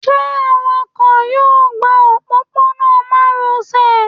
ṣe awakọ yọọ gbá ọpopona maròsè?